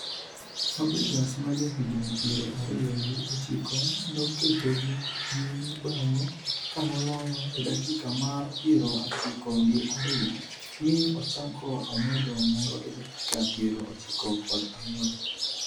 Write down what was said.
Fabregas ma jahigni piero ariyo gi ochiko noketogi nyime bange kanoloyo e dakika mar piero ochiko gi ariyo, mi ochako omedo moro e dakika piero ochiko kod ang'wen